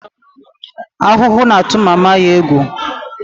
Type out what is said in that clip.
Ahuhu na-atụ mama ya egwu